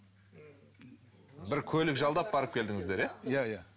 бір көлік жалдап барып келдіңіздер иә иә иә